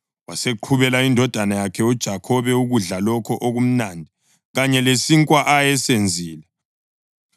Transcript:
Waseqhubela indodana yakhe uJakhobe ukudla lokho okumnandi kanye lesinkwa ayesenzile.